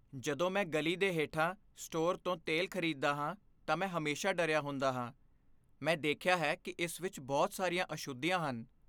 ਜਦੋਂ ਮੈਂ ਗਲੀ ਦੇ ਹੇਠਾਂ ਸਟੋਰ ਤੋਂ ਤੇਲ ਖਰੀਦਦਾ ਹਾਂ ਤਾਂ ਮੈਂ ਹਮੇਸ਼ਾ ਡਰਿਆ ਹੁੰਦਾ ਹਾਂ। ਮੈਂ ਦੇਖਿਆ ਹੈ ਕਿ ਇਸ ਵਿੱਚ ਬਹੁਤ ਸਾਰੀਆਂ ਅਸ਼ੁੱਧੀਆਂ ਹਨ।